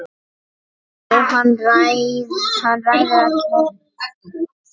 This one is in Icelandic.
Jóhann: Hann ræður öllu?